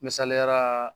Misaliya la